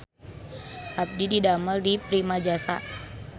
Abdi didamel di Primajasa